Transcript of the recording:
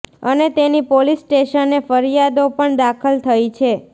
અને તેની પોલીસ સ્ટેશને ફરિયાદો પણ દાખલ થઇ છે